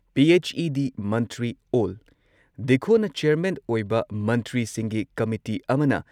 PHE. ꯗꯤ ꯃꯟꯇ꯭ꯔꯤ ꯑꯣꯜ ꯗꯤꯈꯣꯅ ꯆꯦꯌꯔꯃꯦꯟ ꯑꯣꯏꯕ ꯃꯟꯇ꯭ꯔꯤꯁꯤꯡꯒꯤ ꯀꯃꯤꯇꯤ ꯑꯃꯅ